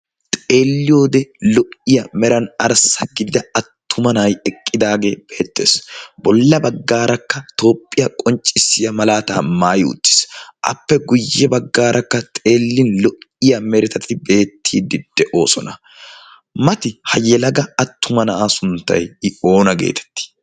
Xeelliyoode lo'iyaa meran arssa gidida attuma na'ay eqqidaagee beettes bolla bagaarakka toophiyaa qonccisiyaa malaataa maayi uttis appe guyye bagaarakka xeellin lo'iyaa meretati beettiiddi de'oosona mati ha yelaga attuma na'aa sunttay oona geetettii?